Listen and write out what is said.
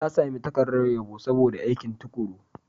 Ta sami takardar yabo saboda aikin tuƙuru.